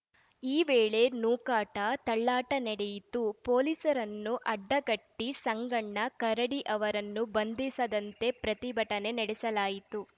ಈ ವೇಳೆಯಲ್ಲಿ ನೂಕಾಟ ತಳ್ಳಾಟ ನಡೆಯಿತು ಪೊಲೀಸರನ್ನು ಅಡ್ಡಗಟ್ಟಿ ಸಂಗಣ್ಣ ಕರಡಿ ಅವರನ್ನು ಬಂಧಿಸದಂತೆ ಪ್ರತಿಭಟನೆ ನಡೆಸಲಾಯಿತು